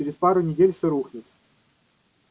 через пару недель всё рухнет